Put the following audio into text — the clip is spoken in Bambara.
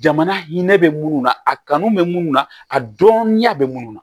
Jamana hinɛ bɛ minnu na a kanu bɛ minnu na a dɔnya bɛ minnu na